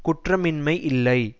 குற்றமின்மை இல்லை